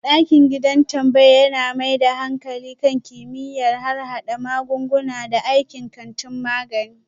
Dakiɗin gidan tambaya yana mai da hankali kan kimiyyar harhada magunguna da aikin kantin magani.